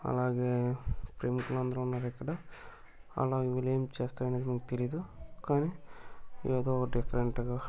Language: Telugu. అలాగే ప్రేమికులందరూ ఉన్నారు ఇక్కడ అలా అందరూ ఏమి చేస్తున్నారో తెలీదు కానీ ఏదో డిఫరెంట్ గా --